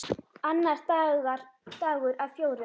Annar dagur af fjórum.